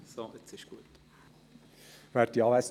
– Sie haben das Wort, Herr Näf.